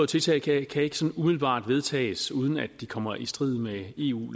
tiltag kan ikke sådan umiddelbart vedtages uden at de kommer i strid med eu